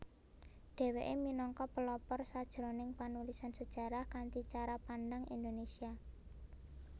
Dheweke minangka pelopor sajroning panulisan sejarah kanthi cara pandang Indonesia